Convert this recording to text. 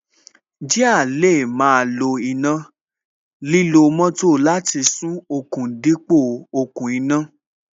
Jíà lè máa lo iná, lílo moto láti sún okùn dípò okùn iná